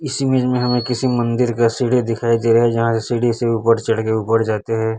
इस इमेज में हमें किसी मंदिर का सीढ़ी दिखाई दे रहे है जहां से सीढ़ी से ऊपर चढ़ के ऊपर जाते है।